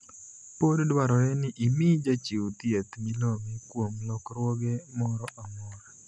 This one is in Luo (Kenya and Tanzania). Pod dwarore ni imii jachiw thieth milome kuom lokruoge moro amora.